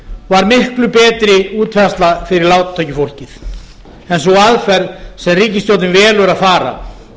var miklu betri útfærsla fyrir lágtekjufólkið en sú aðferð sem ríkisstjórnin velur að fara